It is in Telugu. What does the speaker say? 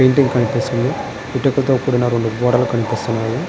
పెయింటింగ్ కనిపిస్తుంది ఇటుకతో కూడిన రెండు గోడలు కనిపిస్తున్నాయి.